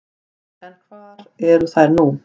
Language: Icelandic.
En hvar eru þær nú?